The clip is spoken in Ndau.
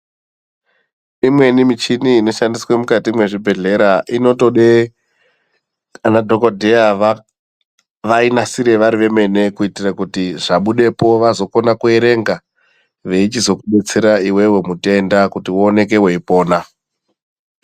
Imweni michini inoshandiswa mukati mwezvibhedhlera, inotode anadhogodheya vainasire vari vemene kuitire kuti zvabudepo vazokone kuerenga veichizokudetsera iwewe mutenda kuti uoneke weipona.